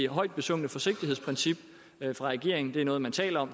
højt besungne forsigtighedsprincip fra regeringen er noget man taler om